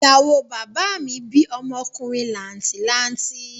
Ìyàwó bàbá mi bí ọmọkùnrin làǹtì lanti